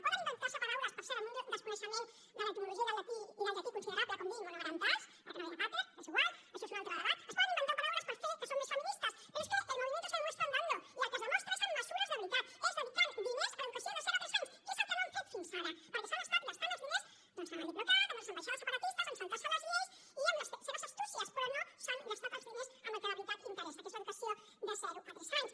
poden inventar se paraules per cert amb un desconeixement de l’etimologia i del llatí considerable com dir monomarentals perquè no ve de pater és igual això és un altre debat es poden inventar paraules per fer que són més feministes però és que el movimiento se demuestra andando i el que es demostra és amb mesures de veritat és dedicant diners a l’educació de zero a tres anys que és el que no han fet fins ara perquè s’han estat gastant els diners en el diplocat en les ambaixades separatistes en saltar se les lleis i en les seves astúcies però no s’han gastat els diners en el que de veritat interessa que és l’educació de zero a tres anys